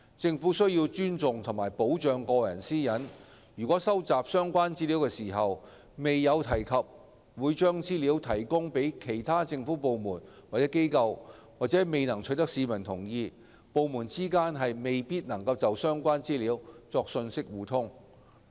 政府須尊重和保障個人私隱，如收集相關資料時未有提及會將資料提供予其他政府部門或機構，或未能取得市民同意，則部門之間未必能就相關資料作信息互通。